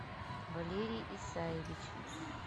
валерий исаевич